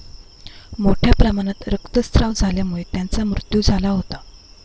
मोठ्या प्रमाणात रक्तस्राव झाल्यामुळे त्यांचा मृत्यू झाला होता.